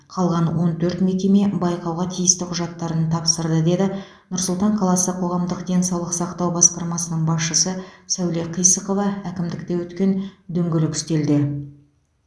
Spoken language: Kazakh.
қалған он төрт мекеме байқауға тиісті құжаттарын тапсырды деді нұр сұлтан қаласы қоғамдық денсаулық сақтау басқармасының басшысы сәуле қисықова әкімдікте өткен дөңгелек үстелде